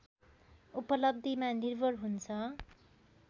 उपलब्धिमा निर्भर हुन्छ